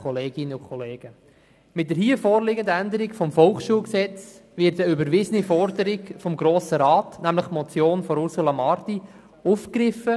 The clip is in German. Mit der hier vorliegenden Änderung des VSG wird eine überwiesene Forderung des Grossen Rats, nämlich die Motion von Ursula Marti, aufgegriffen.